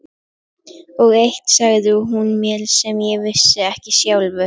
Og eitt sagði hún mér sem ég vissi ekki sjálfur.